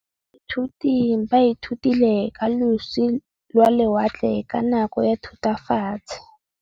Baithuti ba ithutile ka losi lwa lewatle ka nako ya Thutafatshe.